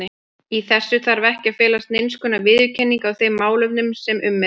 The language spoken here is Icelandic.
Í þessu þarf ekki að felast neinskonar viðurkenning á þeim málefnum sem um er deilt.